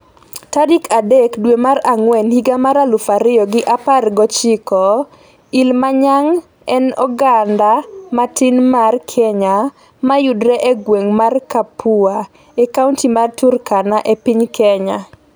tarik adek dwe mar Ang'wen higa mar aluf ariyo gi apar gochiko Ilimanyang en oganda matin mar Kenya mayudre e gweng' mar Kapua, e kaonti mar Turkana e piny Kenya.